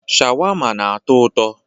Sháwámá na-atọ ụtọ.